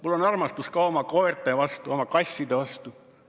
Mul on armastus ka oma koerte vastu, oma kasside vastu.